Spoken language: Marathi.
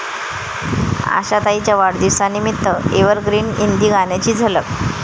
आशाताईंच्या वाढदिवसानिमित्त एव्हरग्रीन हिंदी गाण्यांची झलक